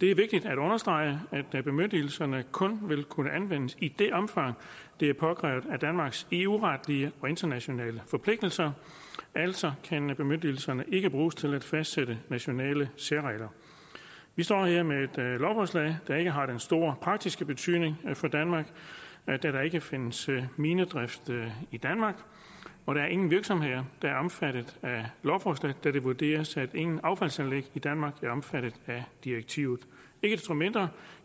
det er vigtigt at understrege at bemyndigelserne kun vil kunne anvendes i det omfang det er påkrævet af danmarks eu retlige og internationale forpligtelser altså kan bemyndigelserne ikke bruges til at fastsætte nationale særregler vi står her med et lovforslag der ikke har den store praktiske betydning for danmark da der ikke findes minedrift i danmark og der er ingen virksomheder der er omfattet af lovforslaget da det vurderes at ingen affaldsanlæg i danmark er omfattet af direktivet ikke desto mindre